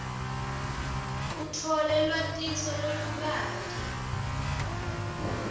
utfole lwatiso lolubanti